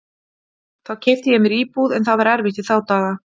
Þá keypti ég mér íbúð, en það var erfitt í þá daga.